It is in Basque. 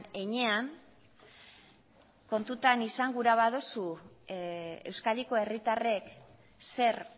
heinean kontutan izan gura baduzu euskadiko herritarrek zer